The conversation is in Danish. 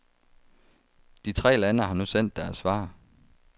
De tre lande har nu sendt deres svar.